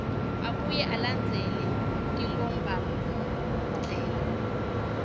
abuye alandzele tinkhombandlela